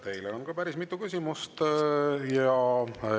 Teile on ka päris mitu küsimust.